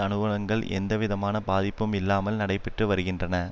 அனுவளங்கள் எந்தவிதமான பாதிப்பும் இல்லாமல் நடைபெற்று வருகின்றன